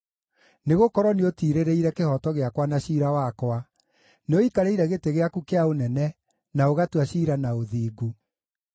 Nĩgũkorwo nĩũtiirĩrĩire kĩhooto gĩakwa na ciira wakwa; nĩũikarĩire gĩtĩ gĩaku kĩa ũnene, na ũgatua ciira na ũthingu.